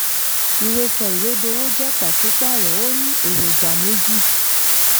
ìwé sọìwédowó jẹ́ pàṣípààrọ̀ ó ní èròjà méjì.